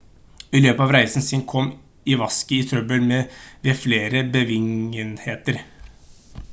i løpet av reisen sin kom iwasaki i trøbbel ved flere begivenheter